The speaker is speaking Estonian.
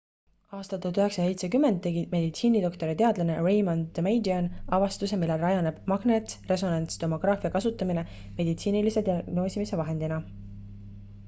aastal 1970 tegi meditsiinidoktor ja teadlane raymond damadian avastuse millel rajaneb magnetresonantstomograafia kasutamine meditsiinilise diagnoosimise vahendina